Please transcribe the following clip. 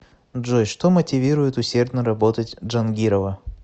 джой что мотивирует усердно работать джангирова